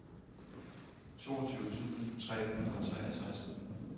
toogtyve tusind tre hundrede og treogtres